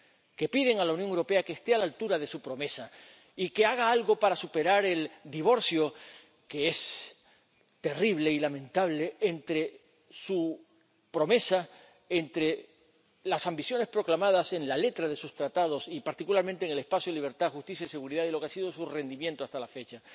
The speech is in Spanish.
iglesias, que piden a la Unión Europea que esté a la altura de su promesa y que haga algo para superar el divorcio, que es terrible y lamentable, entre su promesa, entre las ambiciones proclamadas en la letra de sus Tratados —y particularmente en el espacio de libertad, justicia y seguridad— y lo que ha sido su rendimiento hasta